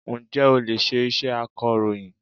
Ǹjẹ́ o lè ṣe iṣẹ́ akọ̀rọ̀yìn?